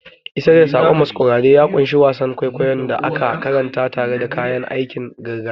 Isar da saƙon masquerade ya ƙunshi wasan kwaikwayon da aka karanta tare da kayan aikin gargajiya.